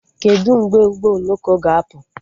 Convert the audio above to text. Kedụ mgbe ụgbọ oloko ga-apụ?